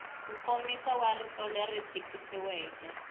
nkomiso wa rito leri tikisiweke